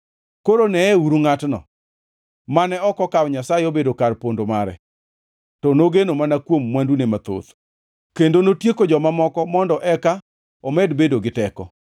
“Koro neyeuru ngʼatno, mane ok okawo Nyasaye obedo kar pondo mare, to nogeno mana kuom mwandune mathoth kendo notieko joma moko mondo eka omed bedo gi teko!”